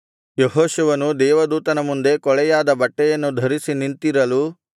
ಯೆಹೋಶುವನು ದೇವದೂತನ ಮುಂದೆ ಕೊಳೆಯಾದ ಬಟ್ಟೆಯನ್ನು ಧರಿಸಿ ನಿಂತಿರಲು